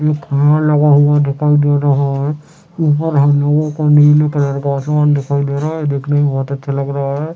एक कार लगा हुआ दिखाई दे रहा है ऊपर हम लोगो को नीली कलर का आसमान दिखाई दे रहा है देखने में बोहत अच्छा लग रहा है।